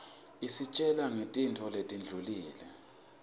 isitjgla nqgtintfo letindwlile